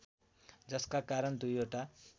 जसका कारण दुईवटा